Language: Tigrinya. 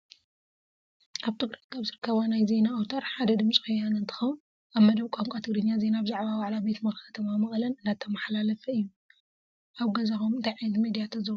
ኣብ ትግራይ ካብ ዝርከባ ናይ ዜና ኣውታር ሓደ ድምፂ ወያነ እንትኸውን ኣብ መደብ ቋንቋ ትግርኛ ዜና ብዛዕባ ዋዕላ ቤት ምኽሪ ከተማ መቐለ እንዳተማሓላለፈ እዩ፡፡ ኣብ ገዛኹም እንታይ ዓይነት ሚድያ ተዘውትሩ?